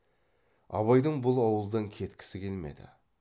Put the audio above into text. абайдың бұл ауылдан кеткісі келмеді